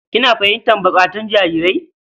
Kina fahimtar buƙatun jarirai?